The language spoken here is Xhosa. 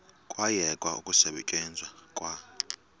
kwayekwa ukusetyenzwa kwa